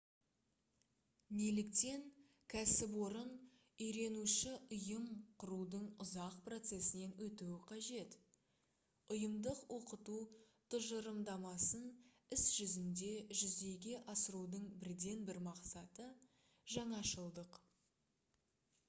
неліктен кәсіпорын «үйренуші ұйым» құрудың ұзақ процесінен өтуі қажет? ұйымдық оқыту тұжырымдамасын іс жүзінде жүзеге асырудың бірден бір мақсаты - жаңашылдық